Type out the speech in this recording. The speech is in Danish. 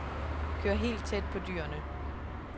Kør helt tæt på dyrene.